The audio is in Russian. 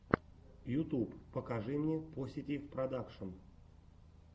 ютуб покажи мне поситив продакшн